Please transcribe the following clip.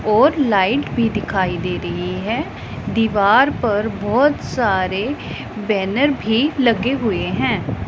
और लाइट भी दिखाई दे रही है दीवार पर बहोत सारे बैनर भी लगे हुए हैं।